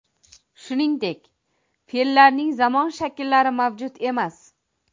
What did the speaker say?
Shuningdek, fe’llarning zamon shakllari mavjud emas.